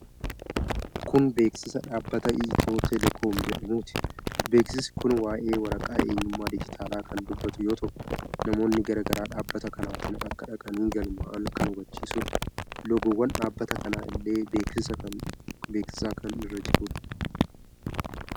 Kun beeksiisa dhaabbata Itiyootelekoom jedhamuuti. Beeksisi kun waa'ee waraqaa eenyummaa digitaalaa kan dubbatu yoo ta'u, namoonni gara dhaabbata kanaatiin akka dhaqanii galmaa'an kan hubachiisudha. Loogowwan dhaabbata kana illee beeksisa kan irra jiru.